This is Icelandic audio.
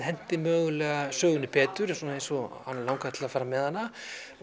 henti mögulega sögunni betur eins og hana langaði til að fara með hana